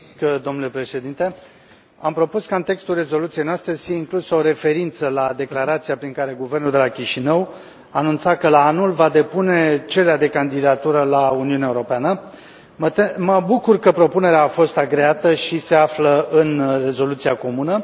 Domnule președinte, am propus ca în textul rezoluției noastre să fie inclusă o referință la declarația prin care guvernul de la Chișinău anunța că la anul va depune cererea de candidatură la Uniunea Europeană. Mă bucur că propunerea a fost agreată și se află în rezoluția comună.